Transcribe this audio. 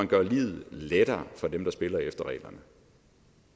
gør livet lettere for dem der spiller efter reglerne